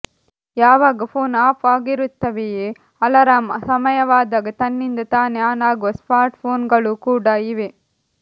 ಯಾವಾಗ phone off ಆಗಿರುತ್ತವೆಯೇ alarm ಸಮಯವಾದಾಗ ತನ್ನಿಂದ ತಾನೇ ಆನ್ ಆಗುವ ಸ್ಮಾರ್ಟ್ ಫೋನ್ ಗಳೂ ಕೂಡ ಇವೆ